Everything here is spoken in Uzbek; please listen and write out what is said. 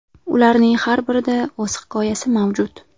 Ularning har birida o‘z hikoyasi mavjud.